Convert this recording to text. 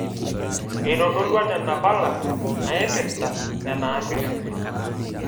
Eitodolua nena pala naipirta nena ambiulensi